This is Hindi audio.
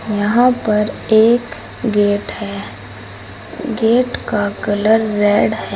यहां पर एक गेट है गेट का कलर रेड है।